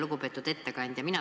Lugupeetud ettekandja!